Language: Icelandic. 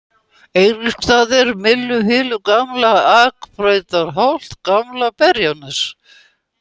Eiríksstaðir, Mylluhylur, Gamla-Akbrautarholt, Gamla-Berjanes